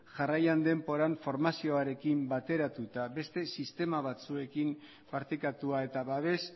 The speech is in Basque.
jarraian denboran formazioarekin bateratuta beste sistema batzuekin partekatua eta babes